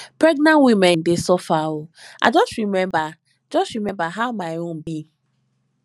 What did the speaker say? pregnant women dey suffer o i just rememba just rememba how my own be